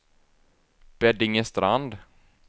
Beddingestrand